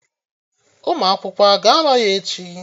Ụmụ akwụkwọ a ga-anọ ya echi?